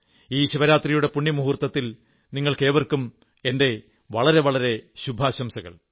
ഈ ശിവരാത്രിയുടെ പുണ്യമുഹുർത്തത്തിൽ നിങ്ങൾക്കേവർക്കും എന്റെ വളരെ വളരെ ശുഭാശംസകൾ